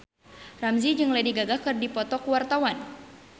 Ramzy jeung Lady Gaga keur dipoto ku wartawan